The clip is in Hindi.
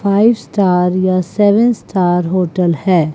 फाइव स्टार या सेवन स्टार होटल है।